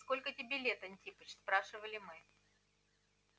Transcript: сколько тебе лет антипыч спрашивали мы